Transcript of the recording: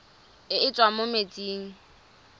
e e tswang mo metsing